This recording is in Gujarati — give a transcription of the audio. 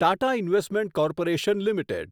Tata investment corporation limited